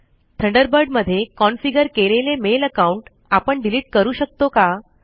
Thunderbird मध्ये configure केलेले mail account आपण डिलीट करू शकतो का